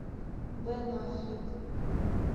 бен аффлек